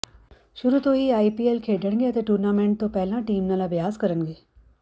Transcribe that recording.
ਸ਼ੁਰੂ ਤੋਂ ਹੀ ਆਈਪੀਐਲ ਖੇਡਣਗੇ ਅਤੇ ਟੂਰਨਾਮੈਂਟ ਤੋਂ ਪਹਿਲਾਂ ਟੀਮ ਨਾਲ ਅਭਿਆਸ ਕਰਨਗੇ